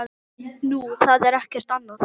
Nú, það er ekkert annað.